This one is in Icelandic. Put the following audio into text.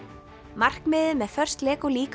markmiðið með First Lego